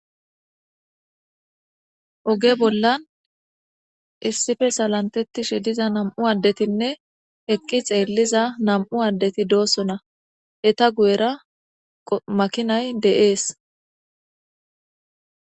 oge bollan issife salantettishe diza nam7u addetinne eqqi xeelliza nam7u addeti doossona eta guyera makinay de7ees